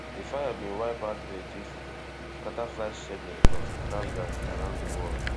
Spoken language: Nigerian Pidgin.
di fire bin wipe out electricity scata flight schedule of travellers around di world